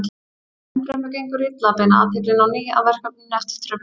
Enn fremur gengur illa að beina athyglinni á ný að verkefninu eftir truflun.